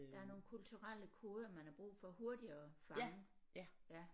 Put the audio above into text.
Der er nogle kulturelle koder man har brug for hurtigere at fange ja